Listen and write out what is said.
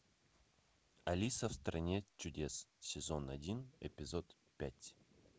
алиса в стране чудес сезон один эпизод пять